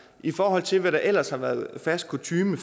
i forhold til hvad der ellers har været fast kutyme